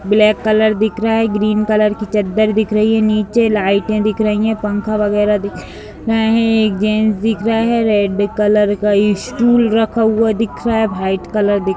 black colour दिख रहा है ग्रीन कलर की चद्दर दिख रही है नीचे लाइटें दिख रही हैं पंखा वगैरा दिख रहा है गेंद दिख रहा है रेड कलर का स्टूल रखा हुआ दिख रहा है वाइट कलर दिख --